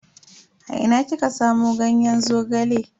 A ina kika samu ganyen Zogale?